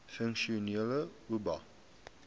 funksionele oba